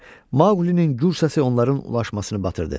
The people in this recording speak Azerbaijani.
Maqulinin gür səsi onların ulaşmasını batırdı.